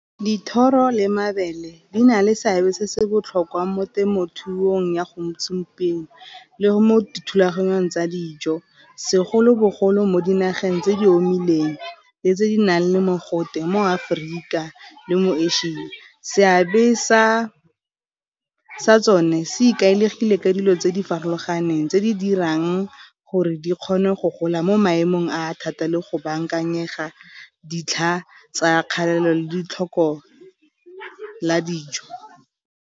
Dithoro le mabele di na le seabe se se botlhokwa mo temothuong ya le mo dithulaganyong tsa dijo, segolobogolo mo dinageng tse di le tse di nang le mogote mo Aforika le mo Asia. Seabe sa tsone se ikaegile ka dilo tse di farologaneng tse di dirang gore di kgone go gola mo maemong a thata le go bankanyega ditlha tsa kgalalelo le ditlhoko la dijo.